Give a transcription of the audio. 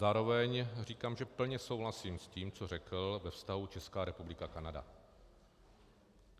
Zároveň říkám, že plně souhlasím s tím, co řekl ve vztahu Česká republika - Kanada.